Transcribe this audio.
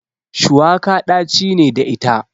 Shuwaka ɗaci ne da ita.